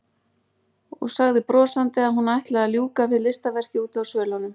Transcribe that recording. Og sagði brosandi að hún ætlaði að ljúka við listaverkið úti á svölunum.